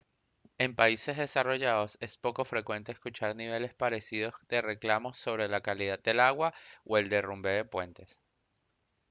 en países desarrollados es poco frecuente escuchar niveles parecidos de reclamos sobre la calidad del agua o el derrumbe de puentes